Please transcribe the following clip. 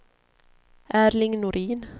Erling Norin